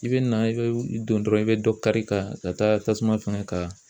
I bɛ na i bɛ don dɔrɔn i bɛ dɔ kari ka taa tasuma fɛngɛ ka